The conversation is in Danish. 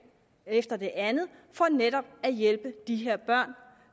efter det andet for netop at hjælpe de her børn